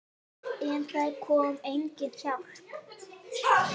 En það kom engin hjálp.